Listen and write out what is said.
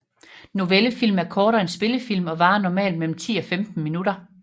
Novellefilm er kortere end spillefilm og varer normalt mellem 10 og 50 minutter